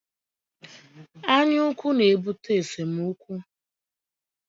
Anyaukwu na-ebute esemookwu